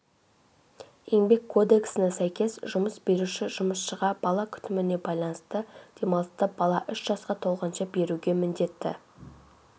еңбек кодексіне сәйкес жұмыс беруші жұмысшыға бала күтіміне байланысты демалысты бала үш жасқа толғанша беруге міндетті